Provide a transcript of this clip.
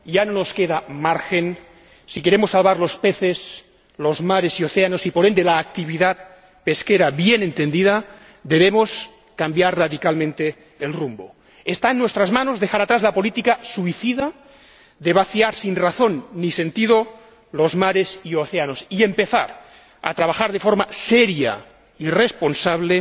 Señor Presidente, estamos ante un momento histórico, y ya no nos queda margen. Si queremos salvar los peces, los mares y océanos y, por ende, la actividad pesquera bien entendida, debemos cambiar radicalmente el rumbo. Está en nuestras manos dejar atrás la política suicida de vaciar sin razón ni sentido los mares y océanos, y empezar a trabajar de forma seria y responsable